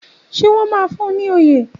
Ṣé wọ́n máa fún un ní oyè?